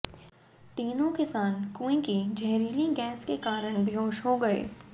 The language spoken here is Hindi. तीनों किसान कुएं की जहरीली गैस के कारण बेहोश हो गए